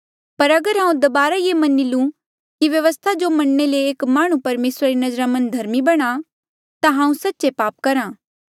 पर अगर हांऊँ दबारा ये मनी लू कि व्यवस्था जो मनणे ले एक माह्णुं परमेसरा री नजरा मन्झ धर्मी बणा ता हांऊँ सच्चे पाप करहा